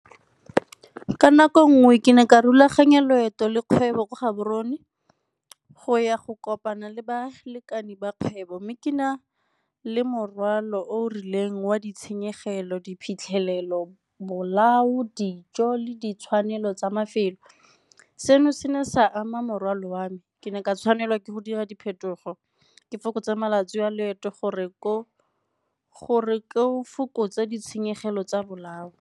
Ka nako nngwe ke ne ka rulaganya loeto le kgwebo kwa Gaborone go ya go kopana le balekane ba kgwebo mme ke na le morwalo o rileng wa ditshenyegelo, diphitlhelelo, bolao, dijo le ditshwanelo tsa mafelo. Seno se ne sa ama morwalo wa me, ke ne ke tshwanelwa ke go dira diphetogo ke fokotsa malatsi wa leeto gore ke go fokotsa ditshenyegelo tsa bolao.